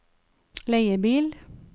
leiebil